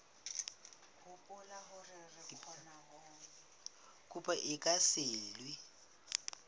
kopo e ka se elwe